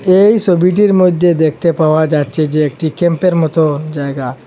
এই সবিটির মধ্যে দেখতে পাওয়া যাচ্ছে যে একটি ক্যাম্পের মতো জায়গা।